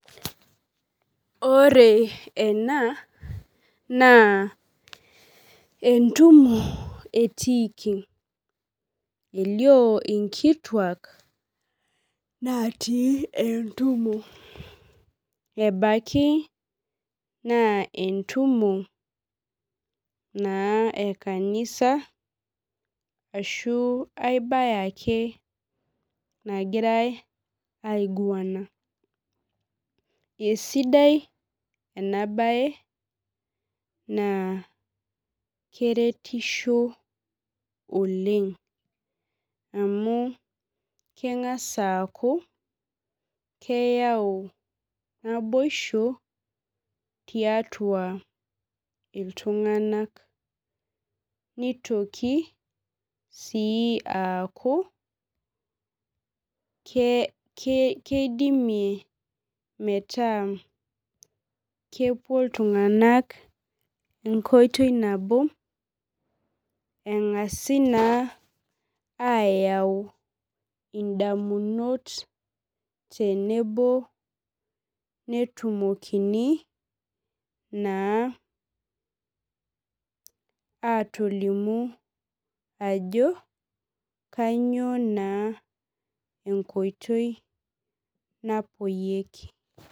Ore ena na entumo etiiki elio nkituak natii entumo ebaki naa entumo na ekanisa ashu aibae ake nagiraj aiguana esidai enabae na keretisho oleng amu kengasa aaku keyau naboisho tiatua ltunganak nitoki si aaku keidimie metaa kepuo ltunganak enkoitoi na o engasi na ayau ndamunot tenebo netumokini atolimu ajo kanyio na enkoitoi napuoyieki.